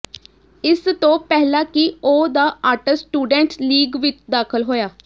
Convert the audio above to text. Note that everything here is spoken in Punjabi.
ਇਸ ਤੋਂ ਪਹਿਲਾਂ ਕਿ ਉਹ ਦ ਆਰਟਸ ਸਟੂਡੈਂਟਸ ਲੀਗ ਵਿਚ ਦਾਖਲ ਹੋਇਆ